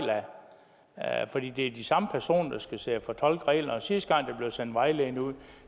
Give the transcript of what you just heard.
af for det er de samme personer der skal sidde og fortolke reglerne sidste gang der blev sendt vejledninger ud